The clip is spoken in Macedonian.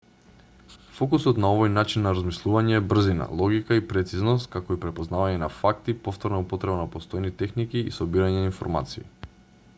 фокусот на овој начин на размислување е брзина логика и прецизност како и препознавање на факти повторна употреба на постојни техники и собирање на информации